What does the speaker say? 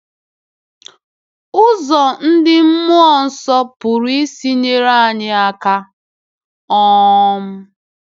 Ụzọ ndị Mmụọ Nsọ pụrụ isi nyere anyị aka. um